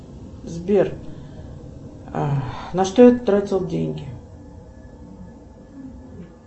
сбер на что я тратил деньги